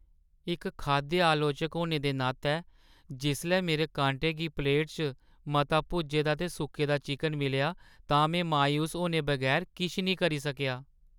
इक खाद्य आलोचक होने दे नातै, जिसलै मेरे कांटे गी प्लेटा च मता भुज्जे दा ते सुक्के दा चिकन मिलेआ तां में मायूस होने बगैर किश निं करी सकेआ।